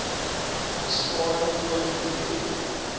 besparing olie direk